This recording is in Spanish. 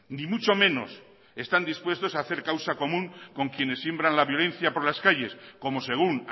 ni mucho menos están dispuestos a hacer causa común con quienes siembran la violencia por las calles como según